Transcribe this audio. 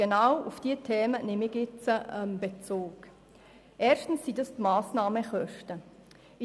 Dabei geht es erstens um die Massnahmenkosten.